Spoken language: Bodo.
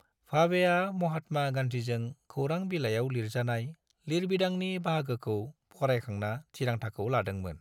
भावेआ महात्मा गान्धीजों खौरां बिलायाव लिरजानाय लिरबिदांनि बाहागोखौ फरायखांना थिरांथाखौ लादोंमोन।